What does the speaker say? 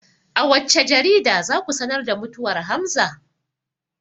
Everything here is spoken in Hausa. A wacce jarida za ku sanar da mutuwar hamza?